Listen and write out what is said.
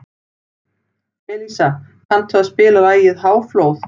Elísa, kanntu að spila lagið „Háflóð“?